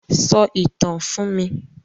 Sọ ìtàn fún mi!